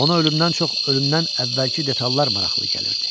Ona ölümdən çox ölümdən əvvəlki detallar maraqlı gəlirdi.